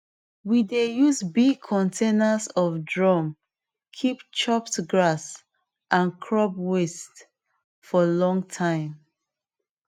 we dey use big containers of drum keep chopped grass and crop waste for long time